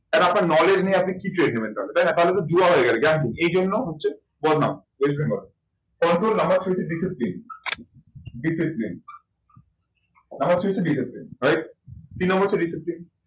And আপনার knowledge নেই আপনি কি trade নেবেন তাহলে? তাই না তাহলে তো জুয়া হয়ে গেলো এইজন্য হচ্ছে west bengal এর control number three হচ্ছে discipline discipline number three হচ্ছে discipline right তিন number হচ্ছে discipline